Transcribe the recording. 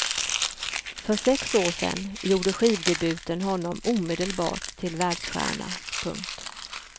För sex år sen gjorde skivdebuten honom omedelbart till världsstjärna. punkt